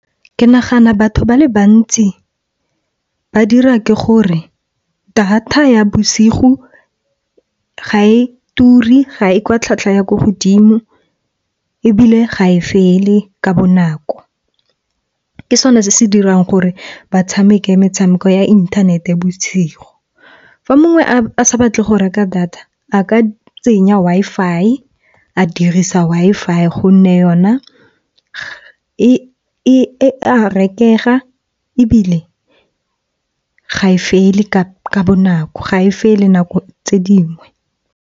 Ke nagana batho ba le bantsi ba dira ke gore data ya bosigo ga e ture, ga e kwa tlhwatlhwa ya ko godimo, ebile ga e fele ka bonako. Ke sone se se dirang gore ba tshameke metshameko ya inthanete bosigo. Fa mongwe a sa batle go reka data a ka tsenya Wi-Fi. A dirisa Wi-Fi gonne yona e a rekega ebile ga e fele ka bonako, ga e fele nako tse dingwe.